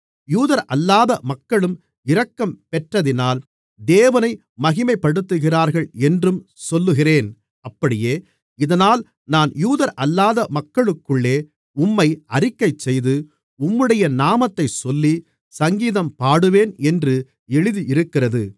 யூதரல்லாத மக்களும் இரக்கம் பெற்றதினால் தேவனை மகிமைப்படுத்துகிறார்கள் என்றும் சொல்லுகிறேன் அப்படியே இதனால் நான் யூதரல்லாத மக்களுக்குள்ளே உம்மை அறிக்கைசெய்து உம்முடைய நாமத்தைச் சொல்லி சங்கீதம் பாடுவேன் என்று எழுதியிருக்கிறது